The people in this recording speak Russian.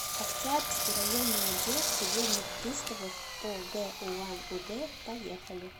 октябрьский районный отдел судебных приставов по г улан удэ поехали